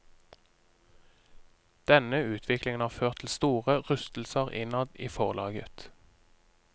Denne utviklingen har ført til store rystelser innad i forlaget.